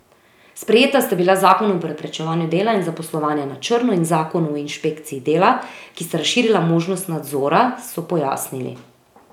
Sprejeta sta bila zakon o preprečevanju dela in zaposlovanja na črno in zakon o inšpekciji dela, ki sta razširila možnost nadzora, so pojasnili.